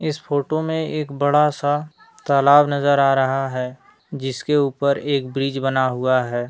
इस फोटो में एक बड़ा सा तालाब नजर आ रहा है जिसके ऊपर एक ब्रिज बना हुआ है।